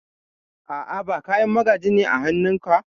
A'a, ba Kayan magaji ne a hanun ka?